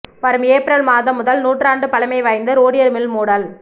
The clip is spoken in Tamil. வரும் ஏப்ரல் மாதம் முதல் நூற்றாண்டு பழமை வாய்ந்த ரோடியர் மில் மூடல்